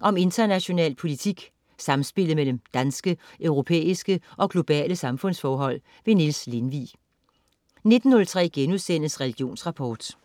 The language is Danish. Om international politik, samspillet mellem danske, europæiske og globale samfundsforhold. Niels Lindvig 19.03 Religionsrapport*